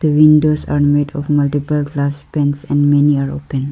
The windows are made of multiple glass paints and many are open.